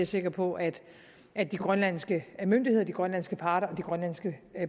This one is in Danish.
sikker på at at de grønlandske myndigheder de grønlandske parter og de grønlandske